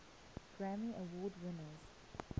grammy award winners